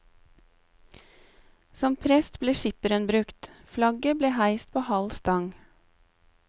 Som prest ble skipperen brukt, flagget ble heist på halv stang.